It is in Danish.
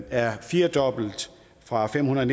er firedoblet fra fem hundrede